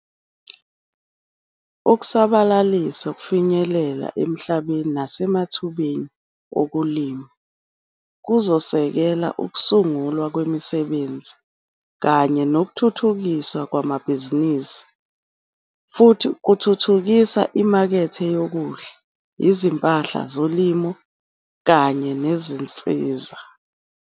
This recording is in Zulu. Ukusabalalisa ukufinyelela emhlabeni nasemathubeni okulima kuzosekela ukusungulwa kwemisebenzi kanye nokuthuthukiswa kwamabhizinisi, futhi kuthuthukisa imakethe yokudla, izimpahla zolimo kanye nezinsiza.